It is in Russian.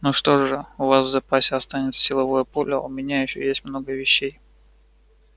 ну что же у вас в запасе останется силовое поле а у меня ещё есть много вещей